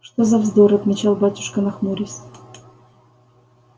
что за вздор отвечал батюшка нахмурясь